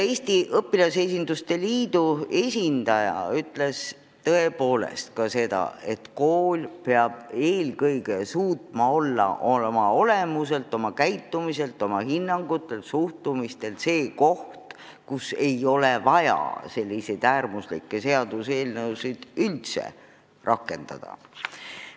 Eesti Õpilasesinduste Liidu esindaja ütles ka seda, et kool peab suutma olla oma olemuselt, oma hinnangutelt ja suhtumistelt koht, kus ei ole vaja selliseid äärmuslikke meetmeid üldse rakendada.